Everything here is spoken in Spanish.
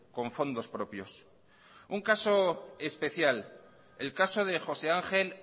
con fondos propios un caso especial el caso de josé ángel